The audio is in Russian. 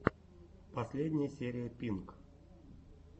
последняя серия пинк